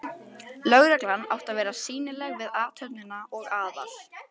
Lögreglan átti að vera sýnileg við athöfnina og Aðal